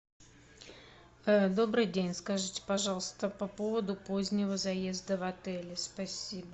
добрый день скажите пожалуйста по поводу позднего заезда в отель спасибо